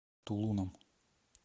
тулуном